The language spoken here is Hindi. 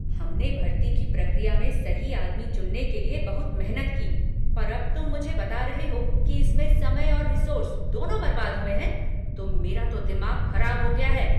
हमने भर्ती की प्रक्रिया में सही आदमी चुनने के लिए बहुत मेहनत की, पर अब तुम मुझे बता रहे हो कि इसमें समय और रिसोर्स दोनों बर्बाद हुए हैं, तो मेरा तो दिमाग खराब हो गया है।